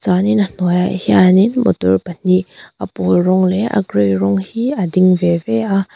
chuanin a hnuai ah hianin motor pahnih a pâwl rawng leh a grey rawng hi a ding ve ve a.